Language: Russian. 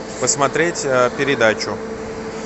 посмотреть передачу